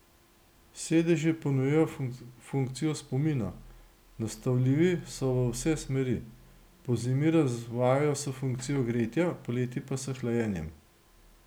Sedeži ponujajo funkcijo spomina, nastavljivi so v vse smeri, pozimi razvajajo s funkcijo gretja, poleti pa s hlajenjem.